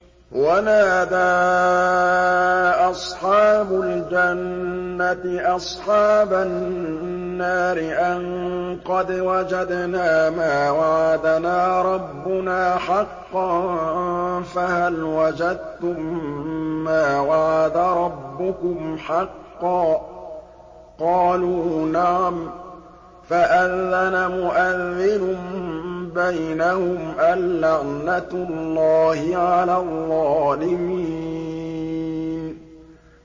وَنَادَىٰ أَصْحَابُ الْجَنَّةِ أَصْحَابَ النَّارِ أَن قَدْ وَجَدْنَا مَا وَعَدَنَا رَبُّنَا حَقًّا فَهَلْ وَجَدتُّم مَّا وَعَدَ رَبُّكُمْ حَقًّا ۖ قَالُوا نَعَمْ ۚ فَأَذَّنَ مُؤَذِّنٌ بَيْنَهُمْ أَن لَّعْنَةُ اللَّهِ عَلَى الظَّالِمِينَ